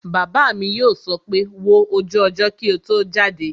Bàbá mi yóò sọ pé 'wo ojú ọjọ́ kí o tó jáde'